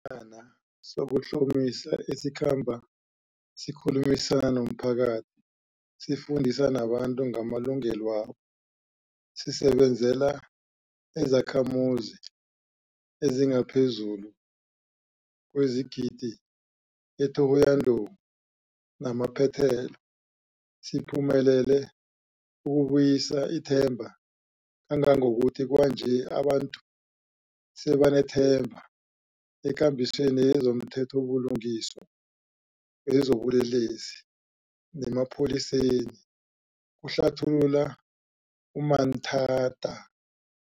ana sokuhlomisa esikhamba sikhulumisana nomphakathi sifundise nabantu ngamalungelwabo. Sisebenzela izakhamuzi ezingaphezulu kwesigidi e-Thohoyandou namaphethelo. Siphumelele ukubuyisa ithemba kangangokuthi kwanje abantu sebanethemba ekambisweni yezomthethobulungiswa wezobulelesi nemapholiseni, kuhlathulula u-Manthada.